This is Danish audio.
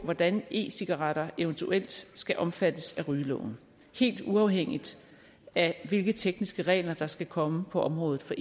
hvordan e cigaretter eventuelt skal omfattes af rygeloven helt uafhængigt af hvilke tekniske regler der skal komme på området for